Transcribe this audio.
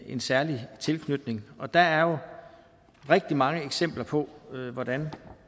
en særlig tilknytning der er jo rigtig mange eksempler på hvordan